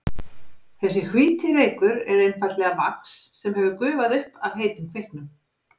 Þessi hvíti reykur er einfaldlega vax sem hefur gufað upp af heitum kveiknum.